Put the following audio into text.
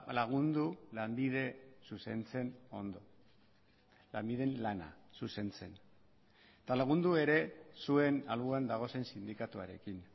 lagundu lanbide zuzentzen ondo lanbiden lana zuzentzen eta lagundu ere zuen alboan dagozen sindikatuarekin